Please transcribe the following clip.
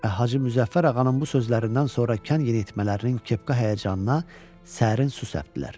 Və Hacı Müzəffər ağanın bu sözlərindən sonra kən yeniyetmələrinin kepka həyəcanına sərin su səpdilər.